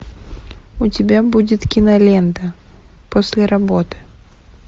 у тебя будет кинолента после работы